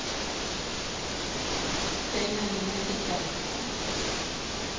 tsena nna ke tla khuta